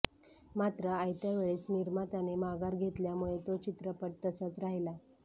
मात्र आयत्या वेळेस निर्मात्याने माघार घेतल्यामुळे तो चित्रपट तसाच राहिला